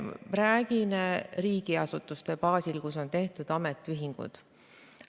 Räägin riigiasutuste baasil, kus on tehtud ametiühingud.